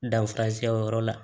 Danfarasiyɛ o yɔrɔ la